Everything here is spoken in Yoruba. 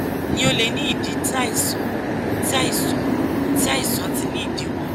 ni o le ni idi ti aisan ti aisan ti aisan ti ni idiwọ